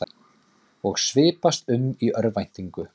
Og svipast um í örvæntingu.